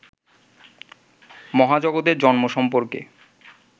মহাজগতের জন্ম সম্পর্কে